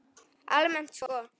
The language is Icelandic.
Almennt sko?